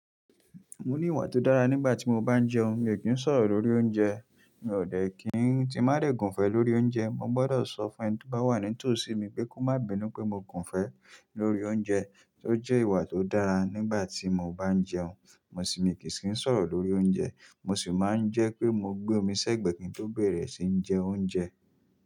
Mo ní ìwà tó dára nígbà tí mo bá ń jẹun, mi ò kí ń sọ̀rọ̀ lórí oúnjẹ. Mi ò dẹ̀ kí ń tí n ba dẹ̀ gùn fẹ́ lórí oúnjẹ. Mo gbọdọ̀ sọ fún ẹni tó bá wà nítòsí mi pé kó má bínú pé mo gùn fẹ́ lórí oúnjẹ. Tó jẹ́ ìwà tó dára nígbà tí mo bá ń jẹun, mo sì mi kì í sì ń sọ̀rọ̀ lórí oúnjẹ. Mo sì máa ń jẹ́ pé mo gbé omi sẹ́gbẹ̀ kín tó bẹ̀rẹ̀ sí ń jẹ oúnjẹ.